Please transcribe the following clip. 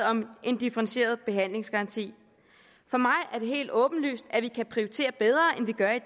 om en differentieret behandlingsgaranti for mig er det helt åbenlyst at vi kan prioritere bedre end vi gør i